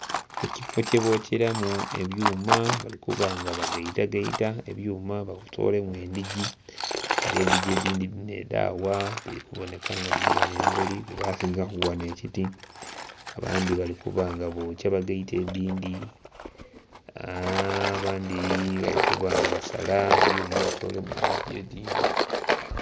Ekifoo kyebokyeramu ebyuma okuba nga bagaitagaita ebyuma babitolemu endiji nga endiji edhindhi dhino edhagha dhiri kuboneka ghano emberi gheba simbaku ghano ekiti abandhi bali kuba nga bokya bagaite edhindhi abandhi bali kuba nga basala ebyuma batolemu endiji edhindhi.